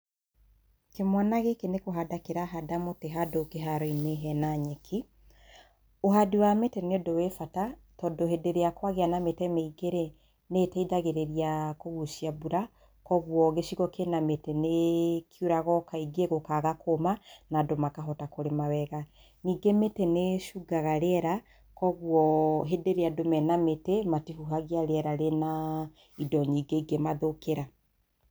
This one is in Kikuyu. Kĩmwana gĩkĩ nĩkũhanda kĩrahanda mũtĩ handũ kĩharoinĩ hena nyeki. Ũhandi wa mĩtĩ nĩ ũndũ wĩ bata tondũ hĩndĩ ĩrĩa kwagĩa na mĩtĩ mĩingĩ rĩ, nĩ iteithagĩrĩria kũgucia mbura kwoguo gĩcigo kĩna mĩtĩ nĩkiuraga o kaingĩ gũkaga kũma na andũ makahota kũrima wega .Ningĩ mĩtĩ nĩ ĩcungaga rĩera kwoguo hĩndĩ ĩrĩa andũ mena mĩtĩ matihuhagia rĩera rĩna indo nyingĩ ingĩ mathũkĩra.